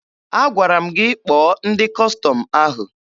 Agwara m gị kpọọ ndị Kọstọm ahụ!